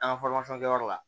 An ka kɛyɔrɔ la